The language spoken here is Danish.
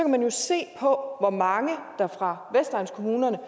man jo se på hvor mange fra vestegnskommunerne